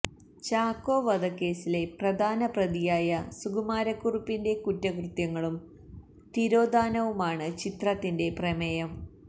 ചാക്കോ വധക്കേസിലെ പ്രധാന പ്രതിയായ സുകുമാരക്കുറുപ്പിന്റെ കുറ്റകൃത്യങ്ങളും തിരോധാനവുമാണ് ചിത്രത്തിന്റെ പ്രമേയം